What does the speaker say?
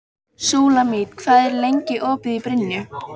Súlamít, hvað er lengi opið í Brynju?